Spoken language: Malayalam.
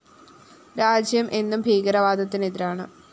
രാജ്യം എന്നും ഭീകരവാദത്തിന് എതിരാണ്